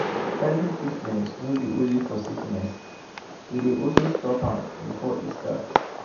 early treatment no be only for sickness e dey also stop am before e start.